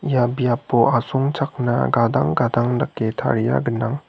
ia biapo asongchakna gadang gadang dake taria gnang.